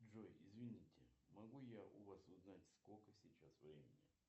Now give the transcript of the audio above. джой извините могу я у вас узнать сколько сейчас времени